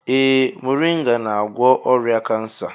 Ee moringa na-agwọ ọrịa kansa.